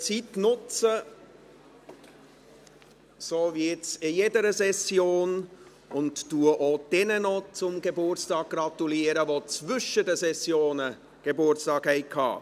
Ich nutze die Zeit, um wie in jeder Session auch noch jenen zum Geburtstag zu gratuliere, die zwischen den Sessionen Geburtstag hatten.